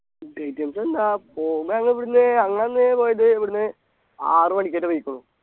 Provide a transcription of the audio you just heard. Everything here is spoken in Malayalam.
food items എന്താ പോവുമ്പൊ ഞങ്ങ ഇവിടുന്ന് ഞങ്ങളന്ന് പോയത് ഇവിട്ന്ന് ആറുമണിക്കാറ്റം പോയിക്കുണു